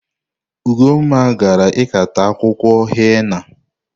Ugonma gara ikata akwụkwọ henna.